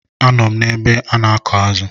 A nọ m ebe m na-akụ̀ azụ̀.